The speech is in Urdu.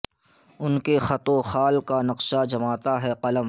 ان کے خط وخال کا نقشہ جماتا ہے قلم